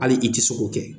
Hali i ti se k'o kɛ